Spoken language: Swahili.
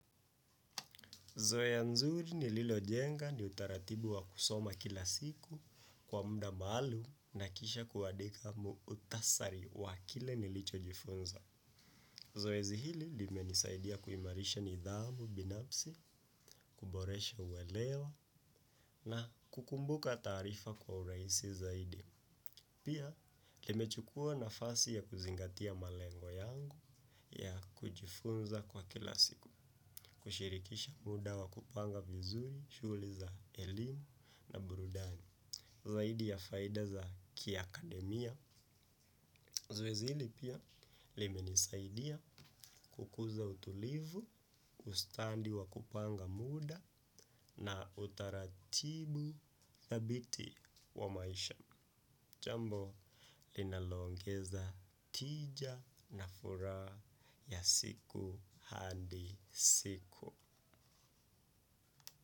Zoe ya nzuri ni lilo jenga ni utaratibu wa kusoma kila siku kwa muda malum kisha kuwadika muutasari wa kile nilicho jifunza. Zoezi hili lime nisaidia kuimarisha nidhamu binapsi, kuboresha uwelewa na kukumbuka tarifa kwa uraisi zaidi. Pia, limechukua nafasi ya kuzingatia malengo yangu ya kujifunza kwa kilasiku, kushirikisha muda wa kupanga vizuri, shughli za elimu na burudani. Zaidi ya faida za kia akademia. Zowzi hili pia, lime nisaidia kukuza utulivu, ustandi wa kupanga muda na utaratibu dhabiti wa maisha. Jambo linalongeza tija na fura ya siku hadi siku.